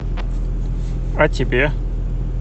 а тебе